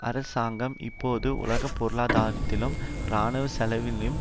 அரசாங்கம் இப்போது உலக பொருளாதாரத்தினதும் இராணுவ செலவினதும்